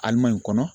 Alima in kɔnɔ